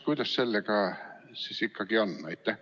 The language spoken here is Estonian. Kuidas sellega siis ikkagi on?